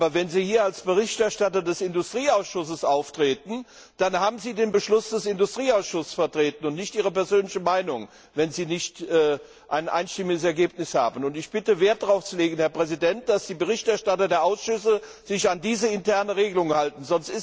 Aber wenn Sie hier als Berichterstatter des Industrieausschusses auftreten, dann haben Sie den Beschluss des Industrieausschusses zu vertreten und nicht Ihre persönliche Meinung, wenn Sie kein einstimmiges Ergebnis haben. Herr Präsident, ich bitte, Wert darauf zu legen, dass sich die Berichterstatter der Ausschüsse an diese interne Regelung halten.